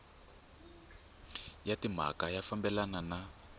ya timhaka ya fambelana na